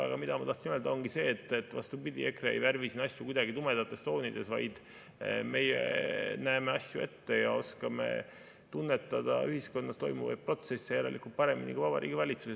Aga mida ma tahtsin öelda, ongi see, et vastupidi, EKRE ei värvi siin asju kuidagi tumedates toonides, vaid meie näeme asju ette ja oskame tunnetada ühiskonnas toimuvaid protsesse järelikult paremini kui Vabariigi Valitsus.